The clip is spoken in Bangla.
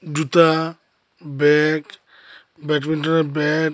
জুতা ব্যাগ ব্যাটবিন্টনের ব্যাট --